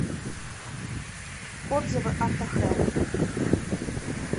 отзывы автохэлп